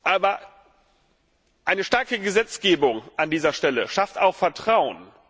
Aber eine starke Gesetzgebung an dieser Stelle schafft auch Vertrauen.